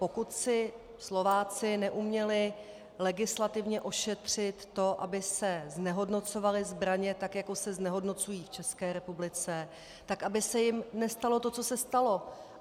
Pokud si Slováci neuměli legislativně ošetřit to, aby se znehodnocovaly zbraně tak, jako se znehodnocují v České republice, tak aby se jim nestalo to, co se stalo.